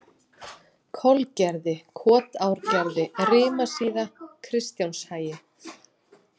Kolgerði, Kotárgerði, Rimasíða, Kristjánshagi